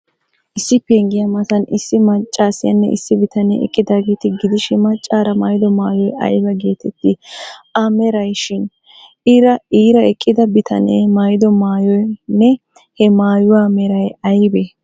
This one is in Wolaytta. Issi penggiya matan issi maccaasiyaanne issi bitanee eqqidaageeta gidishin, maccaara maayido maayoy ayba geeteettii?A merayshin? Iira eqqida bitanee maayido maayoynne he maayuwa meray aybee?